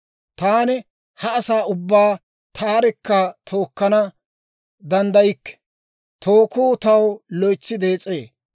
Taani ha asaa ubbaa taarekka tookkana danddaykke; tookku taw loytsi dees'ee.